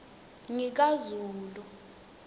ngikazulu